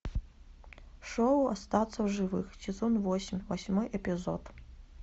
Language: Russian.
шоу остаться в живых сезон восемь восьмой эпизод